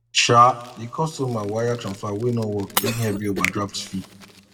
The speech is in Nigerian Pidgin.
sha the customer wire transfer wey no work bring heavy overdraft fee